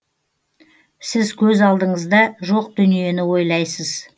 сіз көз алдыңызда жоқ дүниені ойлайсыз